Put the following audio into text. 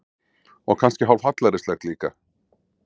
Og kannski hálf hallærislegt líka.